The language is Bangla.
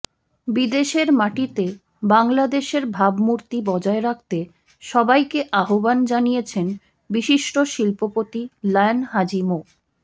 বিদেশের মাটিতে বাংলাদেশের ভাবমূর্তি বজায় রাখতে সবাইকে আহ্বান জানিয়েছেন বিশিষ্ট শিল্পপতি লায়ন হাজি মো